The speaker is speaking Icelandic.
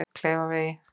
Kleifarvegi